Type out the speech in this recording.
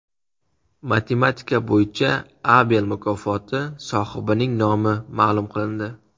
Matematika bo‘yicha Abel mukofoti sohibining nomi ma’lum qilindi.